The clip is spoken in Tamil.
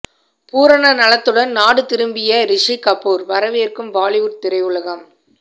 பூரண நலத்துடன் நாடு திரும்பிய ரிஷி கபூர் வரவேற்கும் பாலிவுட் திரையுலகம்